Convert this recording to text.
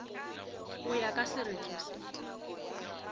go ya ka sereto se